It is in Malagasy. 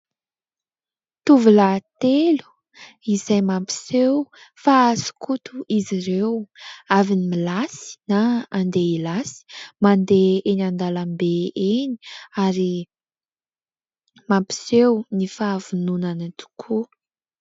Tovolahy telo izay mampiseho fa skoto izy ireo, avy nilasy na andeha hilasy; mandeha eny an-dalambe eny ary mampiseho ny fahavononana tokoa.